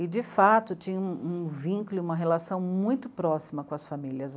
E, de fato, tinha um um vínculo e uma relação muito próxima com as famílias.